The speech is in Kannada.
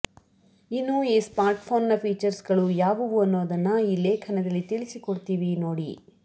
ಇನ್ನು ಈ ಸ್ಮಾರ್ಟ್ಫೋನ್ನ ಫೀಚರ್ಸ್ಗಳು ಯಾವುವು ಅನ್ನೊದನ್ನ ಈ ಲೇಖನದಲ್ಲಿ ತಿಳಿಸಿಕೊಡ್ತೀವಿ ನೋಡಿ